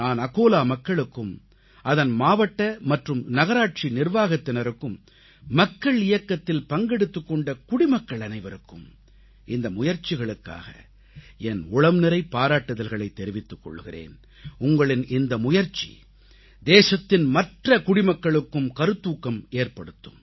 நான் அகோலா மக்களுக்கும் அதன் மாவட்ட மற்றும் நகராட்சி நிர்வாகத்தினருக்கும் மக்கள் இயக்கத்தில் பங்கெடுத்துக் கொண்ட குடிமக்கள் அனைவருக்கும் இந்த முயற்சிகளுக்காக என் உளம்நிறை பாராட்டுதல்களைத் தெரிவித்துக் கொள்கிறேன் உங்களின் இந்த முயற்சி தேசத்தின் மற்ற குடிமக்களுக்கும் கருத்தூக்கம் ஏற்படுத்தும்